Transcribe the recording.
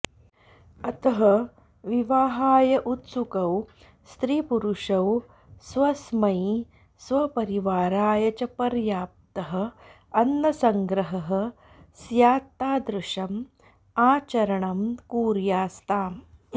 अतः विवाहाय उत्सुकौ स्त्रीपुरुषौ स्वस्मै स्वपरिवाराय च पर्याप्तः अन्नसंग्रहः स्यात्तादृशम् आचरणम् कुर्यास्ताम्